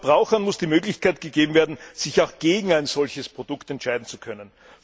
Den Verbrauchern muss die Möglichkeit gegeben werden, sich auch gegen ein solches Produkt entscheiden zu können.